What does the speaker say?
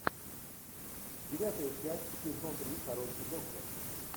девятая часть сезон три хороший доктор